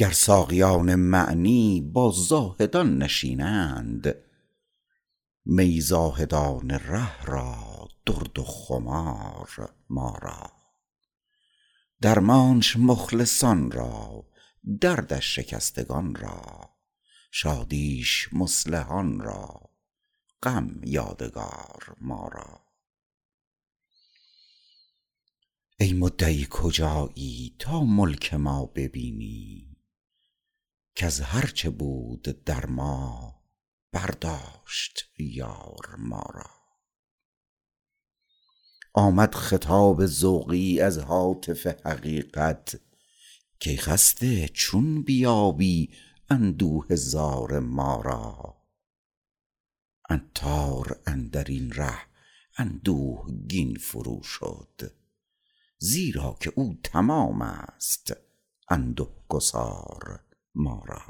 را گر ساقیان معنی با زاهدان نشینند می زاهدان ره را درد و خمار ما را درمانش مخلصان را دردش شکستگان را شادیش مصلحان را غم یادگار ما را ای مدعی کجایی تا ملک ما ببینی کز هرچه بود در ما برداشت —یار— ما را آمد خطاب ذوقی از هاتف حقیقت کای خسته چون بیابی اندوه زار ما را عطار اندرین ره اندوهگین فروشد زیراکه او —تمام است— انده گسار ما را